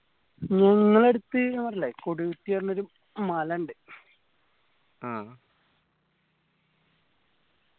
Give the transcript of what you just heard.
ഞങ്ങളടുത്ത് ഞാൻ പറഞ്ഞില്ലേ കൊടി കുത്തിയ പറഞ്ഞൊരു മല ഇണ്ട് ആഹ്